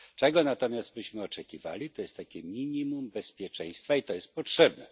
Czego natomiast byśmy oczekiwali, to pewne minimum bezpieczeństwa, i to jest potrzebne.